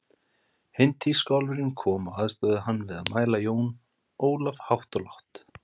Hinn tískuálfurinn kom og aðstoðaði hann við að mæla Jón Ólaf hátt og lágt.